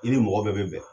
I ni mɔgɔ bɛɛ bɛ bɛn